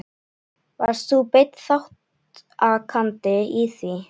Varst þú beinn þátttakandi í því?